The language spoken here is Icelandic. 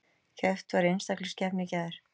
Keppt var í einstaklingskeppni í gær